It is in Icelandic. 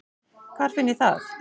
Hvar finn ég það?